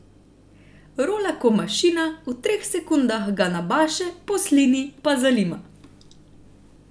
Rola ko mašina, v treh sekundah ga nabaše, poslini pa zalima.